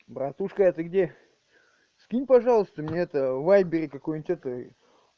братушка ты где скинь пожалуйста мне это в вайбере какую-нибудь это